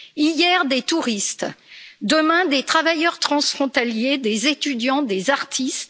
Hier des touristes, demain des travailleurs transfrontaliers, des étudiants, des artistes.